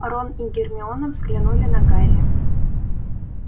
рон и гермиона взглянули на гарри